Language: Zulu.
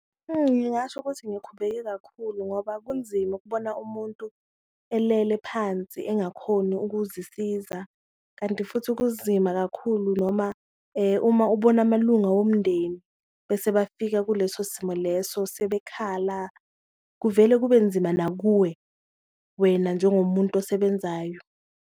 Ngingasho ukuthi ngikhubeke kakhulu ngoba kunzima ukubona umuntu elele phansi engakhoni ukuzisiza, kanti futhi kunzima kakhulu noma uma ubona amalunga womndeni bese bafika kuleso simo leso sebekhala, kuvele kube nzima nakuwe wena njengomuntu osebenzayo.